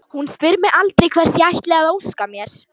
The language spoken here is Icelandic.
Hún spyr mig aldrei hvers ég ætli að óska mér.